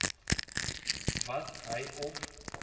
wat hy of